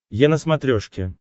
е на смотрешке